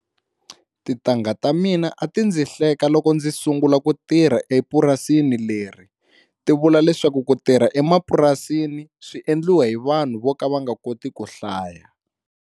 Tintangha ta mina a ti ndzi hleka loko ndzi sungula ku tirha epurasini leri ti vula leswaku ku tirha emapurasini swi endliwa hi vanhu vo ka va koti ku hlaya.